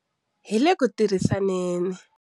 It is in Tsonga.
Hi le ku tirhisaneni.